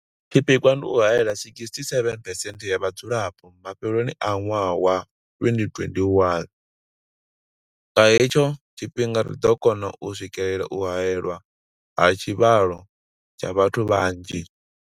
Tshipikwa ndi u haela 67 percent ya vhadzulapo mafheloni a ṅwaha wa 2021. Nga hetsho tshifhinga ri ḓo kona u swikelela u haelwa ha tshivhalo tsha vhathu vhanzhi.